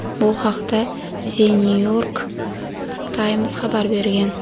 Bu haqda "The New York Times" xabar bergan.